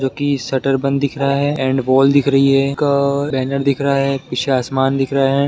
जोकि शटर बंद दिख रहा है एण्ड बॉल दिख रही है का बैनर दिख रहा है पीछे आसमान दिख रहा है।